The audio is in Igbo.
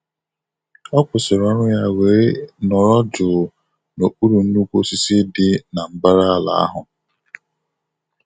Ọ kwụsịrị ọrụ ya wee nọrọ jụụ n'okpuru nnukwu osisi dị na mbara ala ahụ.